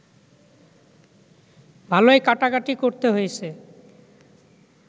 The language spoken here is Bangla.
ভালোই কাটাকাটি করতে হয়েছে